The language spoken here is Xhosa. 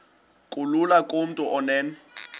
kulula kumntu onen